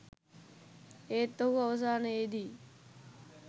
ඒත් ඔහු අවසානයේදී